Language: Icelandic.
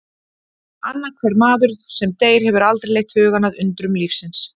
Annar hver maður sem deyr hefur aldrei leitt hugann að undrum lífsins